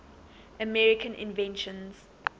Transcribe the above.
american inventions